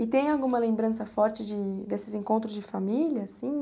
E tem alguma lembrança forte desses encontros de família, assim?